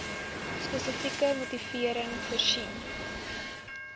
spesifieke motivering voorsien